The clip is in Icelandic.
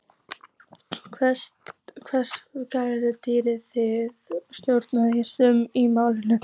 Hvers vegna gagnrýnið þið stjórnvöld í þessu máli?